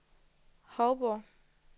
Hovborg